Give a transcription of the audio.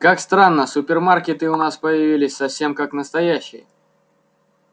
как странно супермаркеты у нас появились совсем как настоящие